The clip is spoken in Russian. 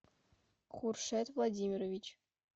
куршет владимирович